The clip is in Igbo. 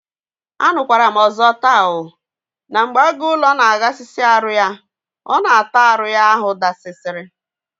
Anukwaram ọzọ taa oo! na mgbe agụ ụlọ na aghasịsị arụ ya, ọ na ata arụ ya ahụ dasịsị